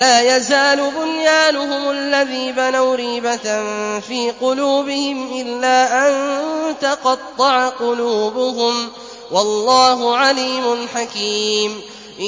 لَا يَزَالُ بُنْيَانُهُمُ الَّذِي بَنَوْا رِيبَةً فِي قُلُوبِهِمْ إِلَّا أَن تَقَطَّعَ قُلُوبُهُمْ ۗ وَاللَّهُ عَلِيمٌ حَكِيمٌ